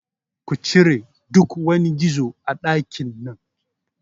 Kucire duk wani gizo a ɗakin nan